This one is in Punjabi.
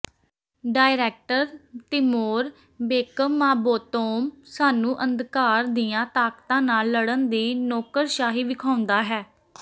ਡਾਇਰੈਕਟਰ ਤਿਮੋਰ ਬੇਕਮਮਾਬੋਤੋਵ ਸਾਨੂੰ ਅੰਧਕਾਰ ਦੀਆਂ ਤਾਕਤਾਂ ਨਾਲ ਲੜਨ ਦੀ ਨੌਕਰਸ਼ਾਹੀ ਵਿਖਾਉਂਦਾ ਹੈ